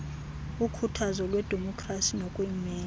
ukhuthazo lwedemokhrasi nokuyimela